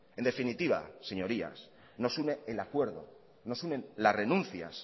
en definitiva señorías nos unen el acuerdo nos unen las renuncias